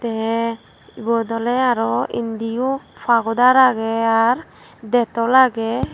tey ibot oley aro indiyo pagoder agey ar detol agey.